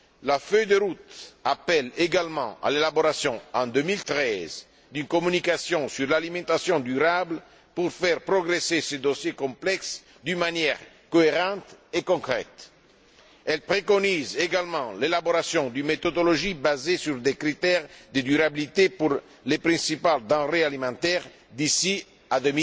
La feuille de route appelle, également, à l'élaboration, en 2013, d'une communication sur l'alimentation durable pour faire progresser ce dossier complexe d'une manière cohérente et concrète. Elle préconise également l'élaboration d'une méthodologie, basée sur des critères de durabilité, pour les principales denrées alimentaires, d'ici